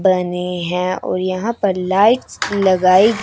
बने हैं और यहां पर लाइट्स लगाई--